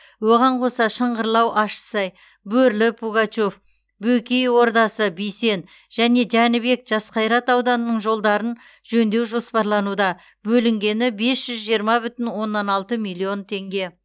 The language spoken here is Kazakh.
оған қоса шыңғырлау ащысай бөрлі пугачев бөкей ордасы бисен және жәнібек жасқайрат ауданының жолдарын жөндеу жоспарлануда бөлінгені бес жүз жиырма бүтін оннан алты миллиард теңге